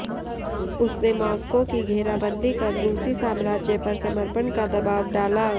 उसने मॉस्को की घेराबंदी कर रूसी साम्राज्य पर समर्पण का दबाब डाला